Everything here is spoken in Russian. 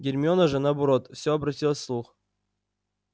гермиона же наоборот всё обратилась в слух